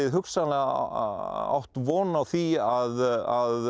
átt von á því að